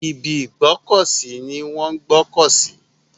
Ibi ìgbọ́kọ̀ sí ni wọ́n ń gbọ́kọ̀ sí.